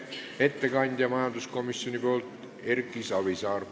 Ettekandja majanduskomisjoni nimel on Erki Savisaar.